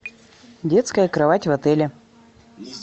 детская кровать в отеле